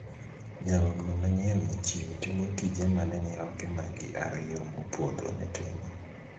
Nyarogno manyien mochiw timo tije mane nyiroke magi ariyo mopodho ne timo.